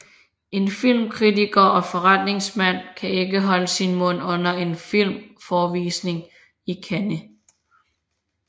En filmkritiker og forretningsmand kan ikke holde sin mund under en filmforevisning i Cannes